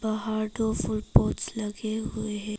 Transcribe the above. बाहर दो फूल पॉटस् लगे हुए हैं।